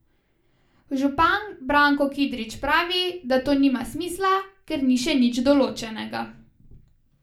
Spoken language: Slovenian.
Župan Branko Kidrič pravi, da to nima smisla, ker ni še nič določenega.